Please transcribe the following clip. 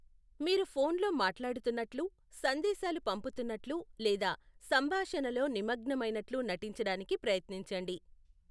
మీరు ఫోన్లో మాట్లాడుతున్నట్లు, సందేశాలు పంపుతున్నట్లు లేదా సంభాషణలో నిమగ్నమైనట్లు నటించడానికి ప్రయత్నించండి.